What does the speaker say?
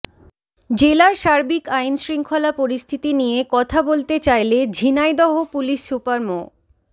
জেলার সার্বিক আইনশৃঙ্খলা পরিস্থিতি নিয়ে কথা বলতে চাইলে ঝিনাইদহ পুলিশ সুপার মো